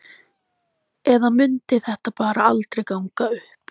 Eða mundi þetta bara aldrei ganga upp?